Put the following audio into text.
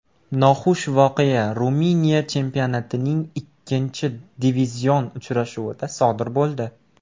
Noxush voqea Ruminiya chempionatining ikkinchi divizion uchrashuvida sodir bo‘ldi.